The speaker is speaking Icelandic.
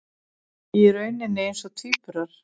Í rauninni eins og tvíburar.